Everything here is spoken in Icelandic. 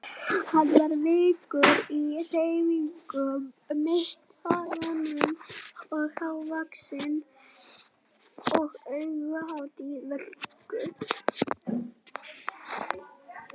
Hann var kvikur í hreyfingum, mittisgrannur og hávaxinn og augnaráðið vökult.